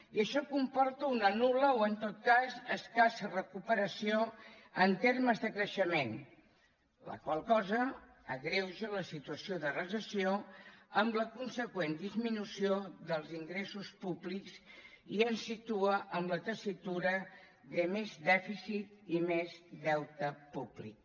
i això comporta una nul·la o en tot cas escassa recuperació en termes de creixement la qual cosa agreuja la situació de recessió amb la consegüent disminució dels ingressos públics i ens situa en la tessitura de més dèficit i més deute públic